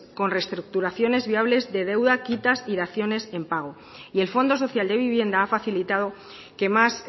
con restructuración viables de deudas quitas y daciones de pago y el fondo social de vivienda ha facilitado que más